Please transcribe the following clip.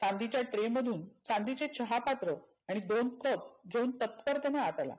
चांदीच्या tray मधुन चांदिची चहा पात्र आणि दोन कप घेऊन तत्परतेने आत आला.